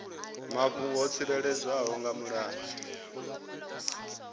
mafhungo o tsireledzwaho nga mulayo